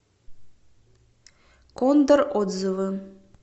кондор отзывы